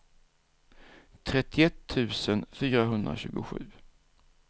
trettioett tusen fyrahundratjugosju